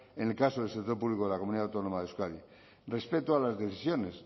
en el caso del sector público de la comunidad autónoma de euskadi respecto a las decisiones